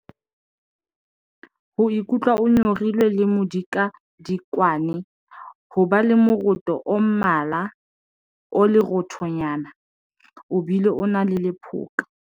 Ho ikutlwa o nyorilwe le modikadikwane. Ho ba le moroto o mmala o leroothonyana, o bile o na le lephoka.